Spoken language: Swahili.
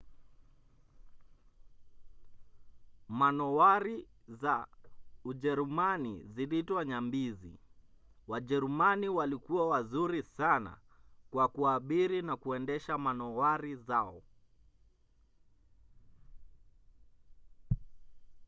manowari za ujerumani ziliitwa nyambizi. wajerumani walikuwa wazuri sana kwa kuabiri na kuendesha manowari zao